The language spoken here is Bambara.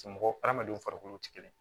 Mɔgɔ hadamadenw farikolo tɛ kelen ye